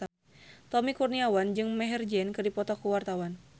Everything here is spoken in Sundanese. Tommy Kurniawan jeung Maher Zein keur dipoto ku wartawan